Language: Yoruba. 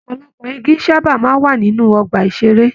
Ọpọlọpọ igi sábà ń wà ní àwọn ọgbà-ìṣeré.